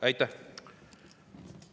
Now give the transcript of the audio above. Aitäh!